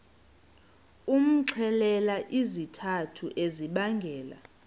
umxelele izizathu ezibangela